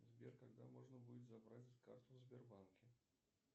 сбер когда можно будет забрать карту в сбербанке